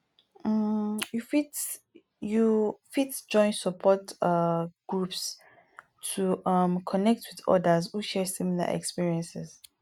um you fit you fit join support um group to um connect with odas who share similar experiences